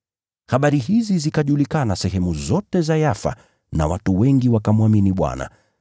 Habari hizi zikajulikana sehemu zote za Yafa na watu wengi wakamwamini Bwana.